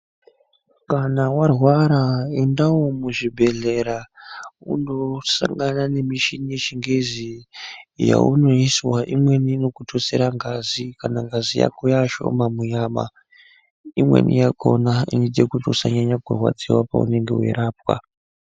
Kana warwara endawo muzvibhehlera unodetsera kututsire ngazi kana ngazi yako yashoma munyama imweni yakona inoita kuti usanyanya kurwadziwa wechirapwa.